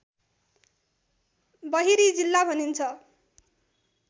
बहिरी जिल्ला भनिन्छ